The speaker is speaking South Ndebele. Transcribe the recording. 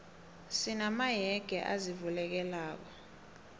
sina mayege azivulekelako